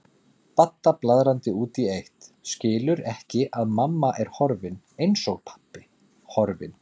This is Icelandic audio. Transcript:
Badda blaðrandi út í eitt, skilur ekki að mamma er horfin, eins og pabbi, horfin.